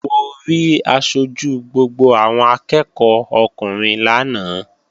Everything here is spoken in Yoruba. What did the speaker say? Mo rí aṣojú gbogbo àwọn akẹ́ẹ̀kọ́ ọkùnrin lánàá